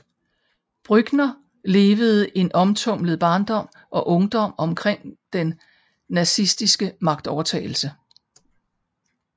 Brückner levede en omtumlet barndom og ungdom omkring den nazistiske magtovertagelse